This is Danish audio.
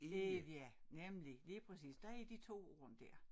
Ævia nemlig lige præcis der er de 2 ord dér